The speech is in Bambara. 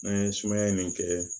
N'an ye sumaya nin kɛ